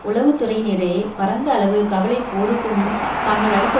உளவு துறையினரிடையே பரந்த அளவு கவலை போருக்குமுன் தாங்கள் அளித்த